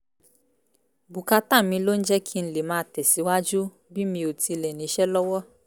bùkátà mi ló ń jẹ́ kí n lè máa tẹ̀síwájú bí mi ò tilẹ̀ níṣẹ́ lọ́wọ́